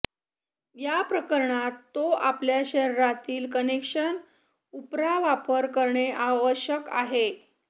या प्रकरणात तो आपल्या शरीरातील कनेक्शन उपरा वापर करणे आवश्यक आहे